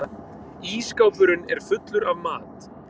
Ísskápurinn er fullur af mat.